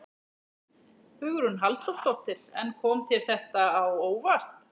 Hugrún Halldórsdóttir: En kom þér þetta á óvart?